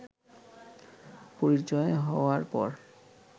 পরিচয় হওয়ার পর